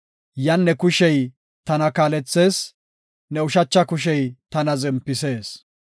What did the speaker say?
yan ne kushey tana kaalethees; ne ushacha kushey tana zempisees.